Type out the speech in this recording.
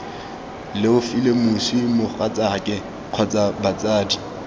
leofile moswi mogatsaake kgotsa batsadi